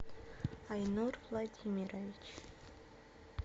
айнур владимирович